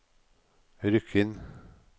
Rykkinn